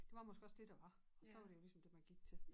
Det var måske også det der var og så var det jo ligesom dét man gik til